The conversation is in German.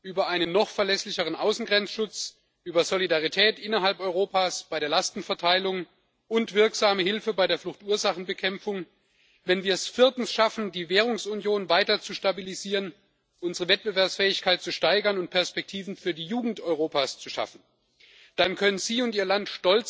über einen noch verlässlicheren Außengrenzschutz, über Solidarität innerhalb Europas bei der Lastenverteilung und wirksame Hilfe bei der Fluchtursachenbekämpfung zu lösen, wenn wir es viertens schaffen, die Währungsunion weiter zu stabilisieren, unsere Wettbewerbsfähigkeit zu steigern und Perspektiven für die Jugend Europas zu schaffen, dann können Sie und Ihr Land